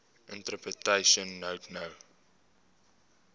interpretation note no